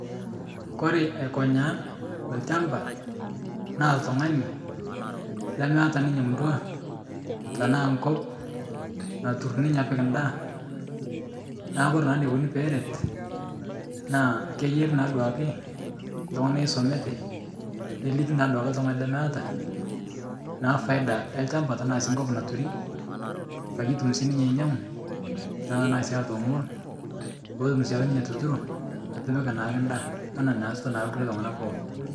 Kore aikonyaa lchamba naa ltung'ani lemeeta ninye murua tanaa nkop natur ninye apik ndaa naa kore naa neikoni peeret naa keiyari naa duake ltung'ana oisomate neliki naaduake ltung'ani lemeeta, naa faida elchamba tanaa sii nkop naturii payie etum sii ninye ainyang'u naa tanaa sii atoomonu, peetum siake ninye atuturo aitipik naake ndaa ana neasita naa lkule tung'anak pooki.